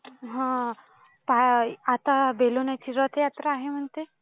हा आता बेलेनाथ ची रथयात्रा आहे म्हणते.